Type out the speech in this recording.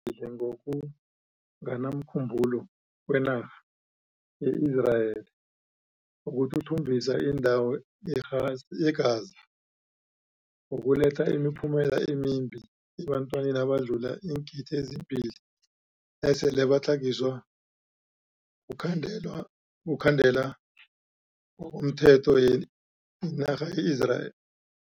Ukuragela phambili ngoku nganamkhumbulo kwenarha ye-Israeli ukuthuthumbisa indawo ye-Gaz ye-Gaza, kuzokuletha imiphumela emimbi ebantwini abadlula iingidi ezimbili esele batlhagiswe kukhandelwa kukhandela ngokomthetho yinarha ye-Israel.